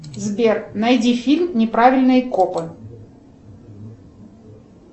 сбер найди фильм неправильные копы